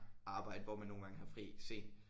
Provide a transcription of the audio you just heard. Arbejde hvor man nogle gange har fri sent